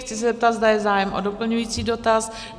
Chci se zeptat, zda je zájem o doplňující dotaz?